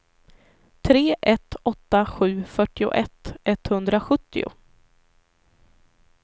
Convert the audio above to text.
tre ett åtta sju fyrtioett etthundrasjuttio